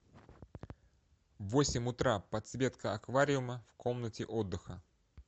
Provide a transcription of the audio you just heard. в восемь утра подсветка аквариума в комнате отдыха